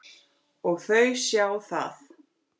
Og þau sjá það.